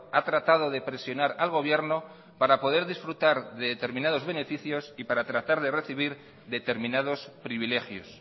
ha tratado de presionar al gobierno para poder disfrutar de determinados beneficios y para tratar de recibir determinados privilegios